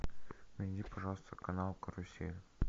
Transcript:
найди пожалуйста канал карусель